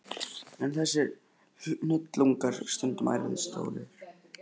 Eru þessir hnullungar stundum ærið stórir.